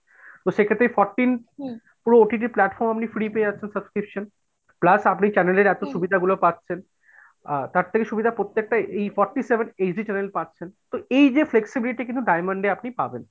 সেক্ষেত্রে এই fourteen পুরো OTT platform আপনি free পেয়ে যাচ্ছেন subscription, plus আপনি channel এর এতো সুবিধা গুলো পাচ্ছেন আর তার থেকে সুবিধা প্রত্যেকটা এই forty seven HD channel পাচ্ছেন। এই যে flexibility কিন্তু diamond এ আপনি পাবেন।